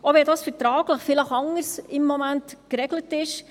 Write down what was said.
Auch wenn dies vertraglich im Moment vielleicht anders geregelt ist: